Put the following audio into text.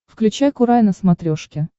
включай курай на смотрешке